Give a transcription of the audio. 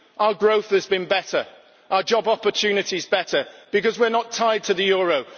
Our growth has been better, our job opportunities better, because we are not tied to the euro.